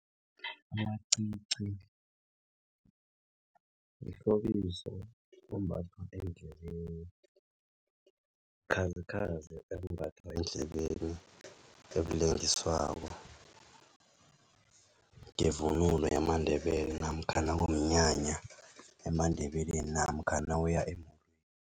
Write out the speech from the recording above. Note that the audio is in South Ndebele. Amacici mhlobiso ombathwa endlebeni bukhazikhazi ebumbathwa endlebeni ebulengiswako ngevunulo yamaNdebele namkhana ngomnyanya emaNdebeleni namkhana nawuya emolweni.